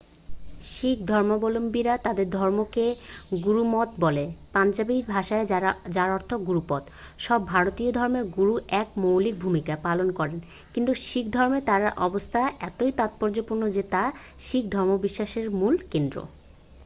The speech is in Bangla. শিখ ধর্মাবলম্বীরা তাঁদের ধর্মকে গুরমত বলেন পাঞ্জাবী ভাষায় যার অর্থ গুরুর পথ । সব ভারতীয় ধর্মেই গুরু এক মৌলিক ভূমিকা পালন করেন কিন্তু শিখ ধর্মে তাঁর অবস্থান এতই তাৎপর্যপূর্ণ যে তা শিখ ধর্মবিশ্বাসের মূল কেন্দ্র।